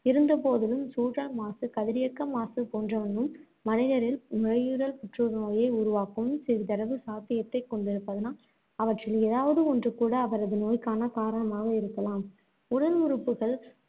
இருந்த போதிலும், சூழல் மாசு, கதிரியக்க மாசு போன்றனவும் மனிதரில் நுரையீரல் புற்றுநோயை உருவாக்கும் சிறிதளவு சாத்தியத்தைக் கொண்டிருப்பதனால், அவற்றில் எதாவது ஒன்றுகூட அவரது நோய்க்கான காரணமாக இருக்கலாம்.